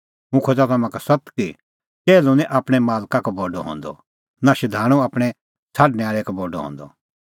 हुंह खोज़ा तम्हां का सत्त कि टैहलू निं आपणैं मालका का बडअ हंदअ नां शधाणूं आपणैं छ़ाडणैं आल़ै का बडअ हंदअ